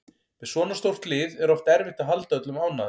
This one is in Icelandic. Með svona stórt lið er oft erfitt að halda öllum ánægðum